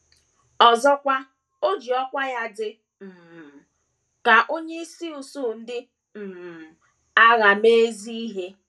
Ọzọkwa, o ji ọkwá ya dị um ka onyeisi usuu ndị um agha mee ezi ihe.